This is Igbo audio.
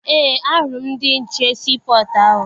Eé, ahụrụ m ndị nche sii pọtụ ahụ.